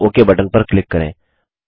और okay button पर click करें